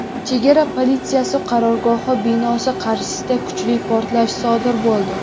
chegara politsiyasi qarorgohi binosi qarshisida kuchli portlash sodir bo‘ldi.